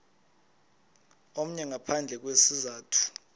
omnye ngaphandle kwesizathu